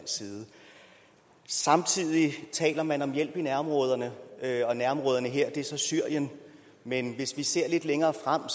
samtidig taler man om hjælp i nærområderne og nærområderne her er så syrien men hvis vi ser lidt længere frem